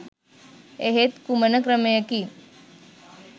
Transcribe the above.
එහෙත් කුමන ක්‍රමයකින්